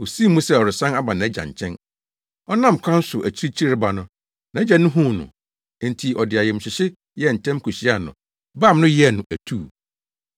Osii mu sɛ ɔresan aba nʼagya nkyɛn. “Ɔnam kwan so akyirikyiri reba no, nʼagya no huu no, enti ɔde ayamhyehye yɛɛ ntɛm kohyiaa no, bam no, yɛɛ no atuu.